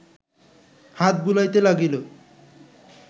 হাত বুলাইতে লাগিল